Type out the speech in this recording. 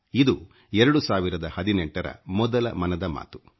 ಇದು 2018 ರ ಮೊದಲ ಮನದ ಮಾತು